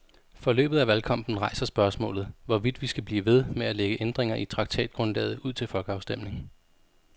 Forløbet af valgkampen rejser spørgsmålet, hvorvidt vi skal blive ved med at lægge ændringer i traktatgrundlaget ud til folkeafstemning.